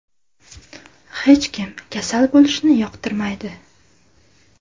Hech kim kasal bo‘lishni yoqtirmaydi.